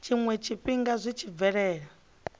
tshiwe tshifhinga zwi tshi bvelela